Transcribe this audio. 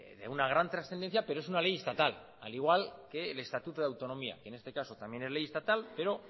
de una gran trascendencia pero es una ley estatal al igual que el estatuto de autonomía que en este caso también es ley estatal pero